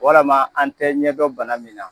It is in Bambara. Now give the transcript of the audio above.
Walima an tɛ ɲɛ dɔn bana min na.